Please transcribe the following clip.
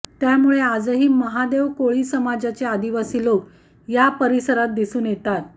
त्यामुळे आजही महादेव कोळी समाजाचे आदिवासी लोक या परिसरात दिसून येतात